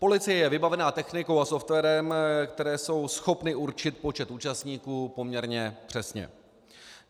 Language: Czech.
Policie je vybavená technikou a softwarem, které jsou schopny určit počet účastníků poměrně přesně.